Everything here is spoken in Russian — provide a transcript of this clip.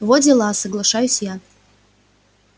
во дела соглашаюсь я